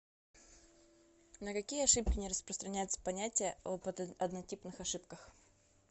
на какие ошибки не распространяется понятие об однотипных ошибках